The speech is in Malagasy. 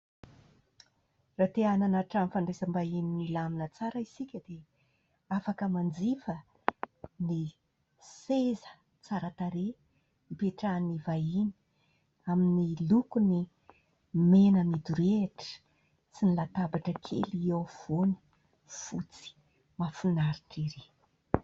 Raha te nanana trano fandraisam-bahiny milamina tsara isika, dia afaka manjifa ny seza tsara tarehy ipetrahan'ny vahiny, amin'ny lokony mena midorehitra, sy ny latabatra kely eo afovoany, fotsy mafinaritra ery.